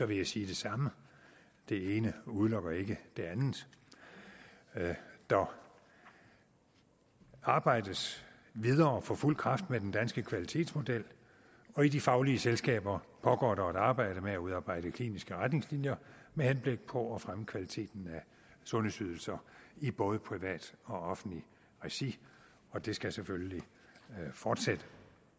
vil jeg sige det samme det ene udelukker ikke det andet der arbejdes videre på fuld kraft med den danske kvalitetsmodel og i de faglige selskaber pågår der et arbejde med at udarbejde kliniske retningslinjer med henblik på at fremme kvaliteten af sundhedsydelser i både privat og offentligt regi og det skal selvfølgelig fortsætte